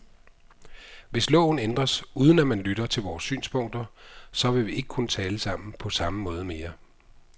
Hvis loven ændres, uden at man lytter til vores synspunkter, så vil vi ikke kunne tale sammen på samme måde mere.